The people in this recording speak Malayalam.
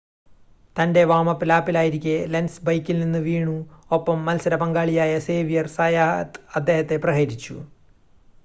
തൻ്റെ വാം-അപ്പ് ലാപ്പിലായിരിക്കെ ലെൻസ് ബൈക്കിൽ നിന്ന് വീണു ഒപ്പം മത്സര പങ്കാളിയായ സേവ്യർ സയാത്ത് അദ്ദേഹത്തെ പ്രഹരിച്ചു